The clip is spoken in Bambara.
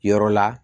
Yɔrɔ la